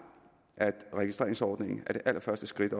at registreringsordningen er det allerførste skridt